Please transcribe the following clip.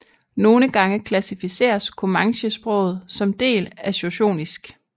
Nogle gange klassificeres comanchesproget som del af shoshonisk